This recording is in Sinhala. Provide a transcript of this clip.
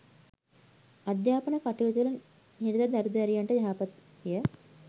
අධ්‍යාපන කටයුතුවල නිරත දරු දැරියන්ට යහපත්ය